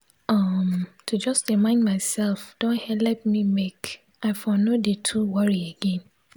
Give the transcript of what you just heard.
um to jus de mind mysef don helep me make i for nor de too worri again